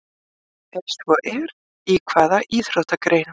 Ef svo er, í hvaða íþróttagreinum?